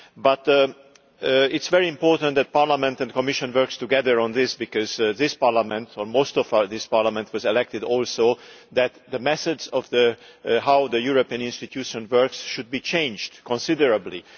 But it is very important that Parliament and the Commission work together on this because this Parliament, or most of this Parliament, was elected so that the message of how the European Institutions work should be changed considerably